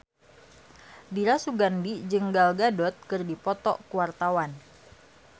Dira Sugandi jeung Gal Gadot keur dipoto ku wartawan